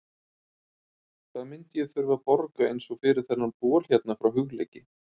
Hvað myndi ég þurfa að borga eins og fyrir þennan bol hérna frá Hugleiki?